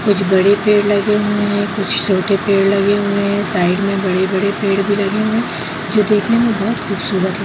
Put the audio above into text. कुछ बड़े पेड़ लगे हुए हैं कुछ छोटे पेड़ लगे हुए हैं साइड में बड़े-बड़े पेड़ भी लगे हुए हैंजो देखने में बहुत खूबसूरत --